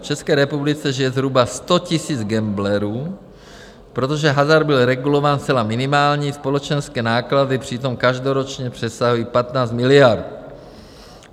V České republice žije zhruba 100 000 gamblerů, protože hazard byl regulován zcela minimálně, společenské náklady přitom každoročně přesahují 15 miliard.